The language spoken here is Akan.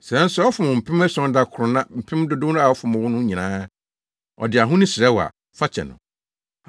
Sɛ nso ɔfom wo mpɛn ason da koro na mpɛn dodow a ɔfom wo no nyinaa, ɔde ahonu srɛ wo a fa kyɛ no.”